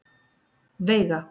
Veiga